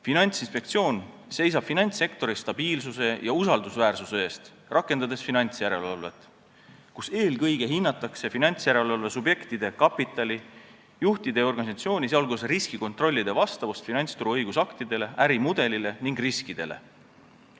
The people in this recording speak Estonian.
Finantsinspektsioon seisab finantssektori stabiilsuse ja usaldusväärsuse eest, rakendades finantsjärelevalvet, eelkõige hinnatakse finantsjärelevalve subjektide kapitali, juhtide ja organisatsiooni, sh riskikontrollide vastavust finantsturu õigusaktidele, ärimudelile ning riskidele.